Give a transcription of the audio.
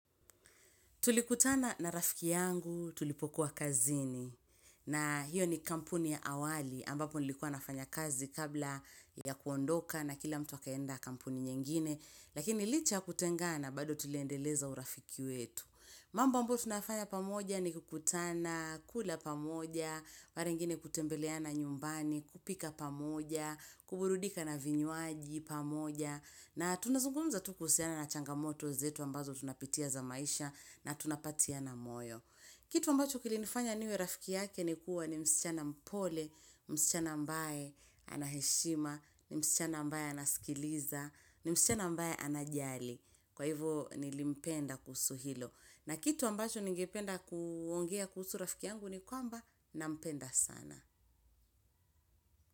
Tulikutana na rafiki yangu tulipokuwa kazini na hiyo ni kampuni ya awali ambapo nilikuwa nafanya kazi kabla ya kuondoka na kila mtu akaenda kampuni nyingine lakini licha ya kutengana bado tuliendeleza urafiki wetu. Mamb ambayo tunafanya pamoja ni kukutana, kula pamoja, mara ingine kutembeleana nyumbani, kupika pamoja, kuburudika na vinywaji pamoja, na tunazungumza tu kuhusiana na changamoto zetu ambazo tunapitia za maisha na tunapatiana moyo. Kitu ambacho kilinifanya niwe rafiki yake ni kuwa ni msichana mpole, msichana ambaye anaheshima, msichana ambaye anaskiliza, msichana ambaye anajali. Kwa hivo nilimpenda kuhusu hilo. Na kitu ambacho ningependa kuongea kuhusu rafiki yangu ni kwamba na mpenda sana.